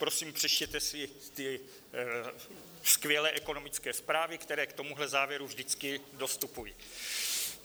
Prosím, přečtěte si ty skvělé ekonomické zprávy, které k tomuhle závěru vždycky dostupují.